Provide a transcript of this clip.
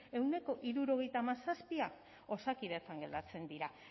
ehuneko hirurogeita hamazazpia osakidetzan gertatzen dira